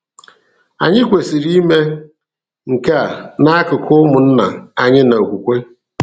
Anyị kwesịrị ime nke a n’akụkụ ụmụnna anyị na okwukwe.